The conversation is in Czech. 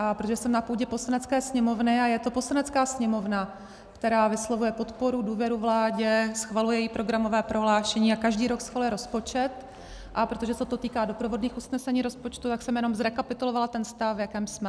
A protože jsem na půdě Poslanecké sněmovny a je to Poslanecká sněmovna, která vyslovuje podporu, důvěru vládě, schvaluje její programové prohlášení a každý rok schvaluje rozpočet, a protože se to týká doprovodných usnesení rozpočtu, tak jsem jenom zrekapitulovala ten stav, v jakém jsme.